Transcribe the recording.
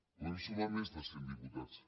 podem sumar més de cent diputats